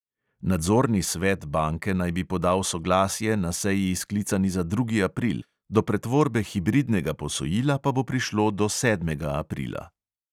Nadzorni svet banke naj bi podal soglasje na seji, sklicani za drugi april, do pretvorbe hibridnega posojila pa bo prišlo do sedmega aprila.